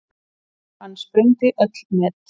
Hann sprengdi öll met.